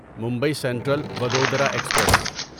Mumbai central Vadodara express